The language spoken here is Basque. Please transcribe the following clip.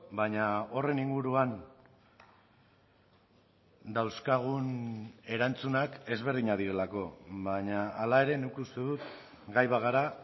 baina horren inguruan dauzkagun erantzunak ezberdinak direlako baina hala ere nik uste dut gai bagara